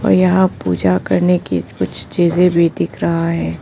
यहां पूजा करने की कुछ चीजें भी दिख रहा है।